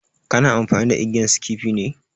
Kana amfani da igiyan skifi ne?